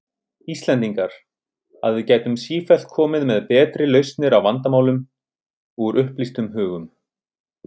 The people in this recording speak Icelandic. Íslendingar, að við gætum sífellt komið með betri lausnir á vandamálum, úr upplýstum hugum.